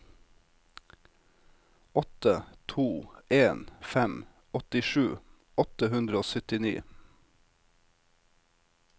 åtte to en fem åttisju åtte hundre og syttini